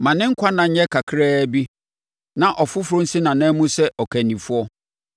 Ma ne nkwa nna nyɛ kakraa bi; na ɔfoforɔ nsi nʼanan mu sɛ ɔkandifoɔ.